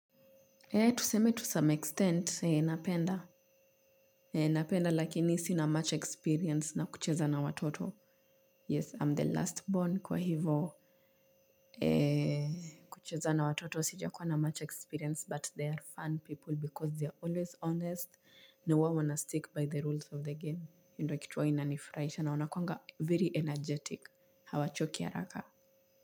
Ee tuseme to some extent napenda napenda lakini si na match experience na kucheza na watoto yes i'm the last born kwa hivo kucheza na watoto sija kuwa na match experience but they are fun people because they are always honest na uwa wana stick by the rules of the game hio ndo kituwa inanifraisha na wanakuanga very energetic hawachoki araka.